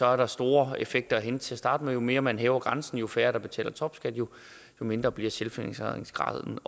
er store effekter at hente til at starte med jo mere man hæver grænsen jo færre der betaler topskat jo mindre bliver selvfinansieringsgraden